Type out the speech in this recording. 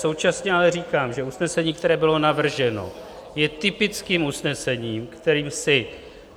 Současně ale říkám, že usnesení, které bylo navrženo, je typickým usnesením, kterým si